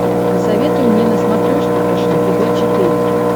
посоветуй мне на смотрешке фэшен тв четыре к